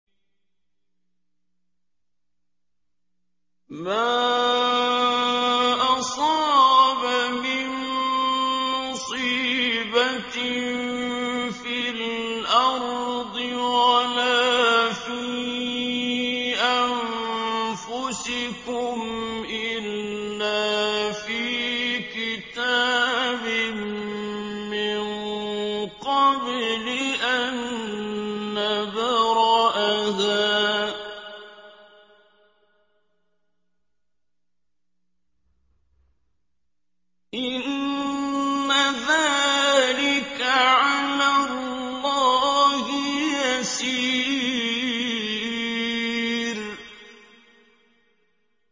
مَا أَصَابَ مِن مُّصِيبَةٍ فِي الْأَرْضِ وَلَا فِي أَنفُسِكُمْ إِلَّا فِي كِتَابٍ مِّن قَبْلِ أَن نَّبْرَأَهَا ۚ إِنَّ ذَٰلِكَ عَلَى اللَّهِ يَسِيرٌ